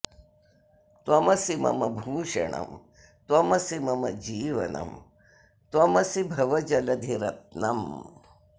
त्वमसि मम भूषणम् त्वमसि मम जीवनम् त्वमसि भवजलधिरत्नम्